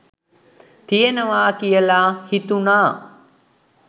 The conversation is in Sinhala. තියෙනවා කියලා හිතුනා